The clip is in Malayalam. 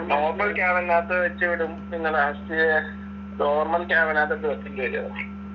normal ക്യാബിനകത്ത് വെച്ചുവിടും. പിന്നെ ലാസ്റ്റ് നോർമൽ ക്യാബിനകത്തോട്ട് വെക്കേണ്ടിവരും അത്.